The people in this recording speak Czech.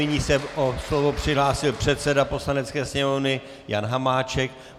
Nyní se o slovo přihlásil předseda Poslanecké sněmovny Jan Hamáček.